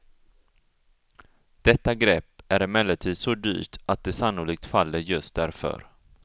Detta grepp är emellertid så dyrt att det sannolikt faller just därför.